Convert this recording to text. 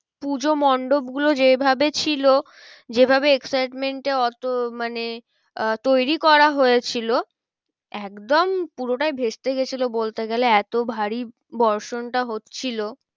পূজো মন্ডপ গুলো যে ভাবে ছিল যে ভাবে excitement এ অত মানে আহ তৈরী করা হয়েছিল একদম পুরোটা ভেস্তে গিয়েছিলো বলতে গেলে এতো ভারী বর্ষণটা হচ্ছিলো।